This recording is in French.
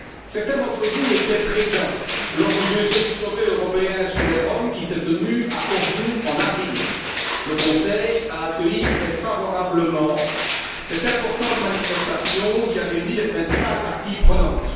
Certains d'entre vous étaient présents lors du deuxième sommet européen sur les Roms qui s'est tenu à Cordoue en avril. Le Conseil a accueilli très favorablement cette importante manifestation, qui a réuni les principales parties prenantes.